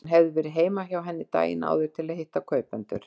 Hann hafði verið heima hjá henni daginn áður til að hitta kaupendur.